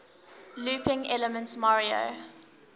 looping elements mario